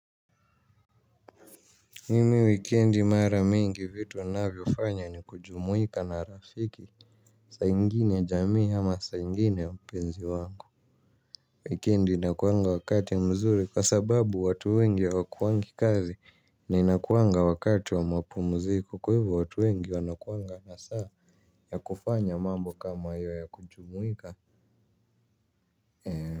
Mimi wikendi mara mingi vitu ninavyofanya ni kujumuika na rafiki. Saa ingine jamii ama saa ingine mpenzi wangu wikendi inakuanga wakati mzuri kwa sababu watu wengi hawakuwangi kazi na inakuanga wakati wa mapumziku kwa hivyo watu wengi wanakuanga na saa ya kufanya mambo kama hiyo ya kujumuika.